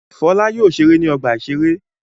Fọlá yóò ṣeré ní ọgbà-ìṣeré.